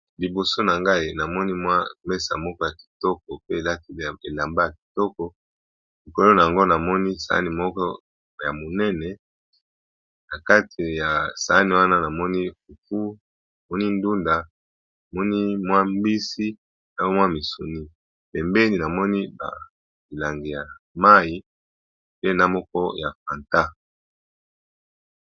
Liboso na ngai namoni mwa mesa moko ya kitoko pe elati elamba ya kitoko likolo na yango namoni sani moko ya monene na kati ya sani wana namoni fufu, namoni ndunda, namoni mwa mbisi, na mwa misuni, pembeni namoni ba milangi ya mayi pe na moko ya Fanta.